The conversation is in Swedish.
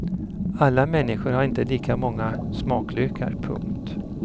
Alla människor har inte lika många smaklökar. punkt